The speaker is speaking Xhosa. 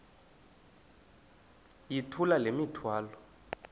yithula le mithwalo